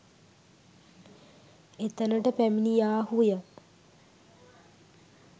එතනට පැමිණියාහු ය.